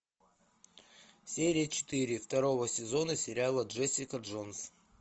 серия четыре второго сезона сериала джессика джонс